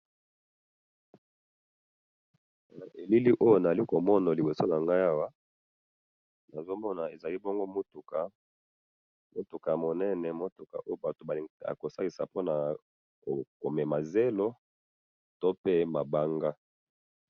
Na elili oyo nazali komona liboso nangayi awa, nazomona eza bongo mutuka, mutuka yamunene mutu oyo batu balingi, bakosalisa pona komema zelo tope mabanga.